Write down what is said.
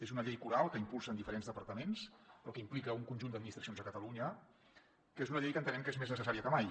és una llei coral que impulsen diferents departaments però que implica un conjunt d’administracions a catalunya que és una llei que entenem que és més necessària que mai